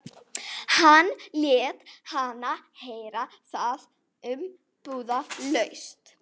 Hann lét hana heyra það umbúðalaust.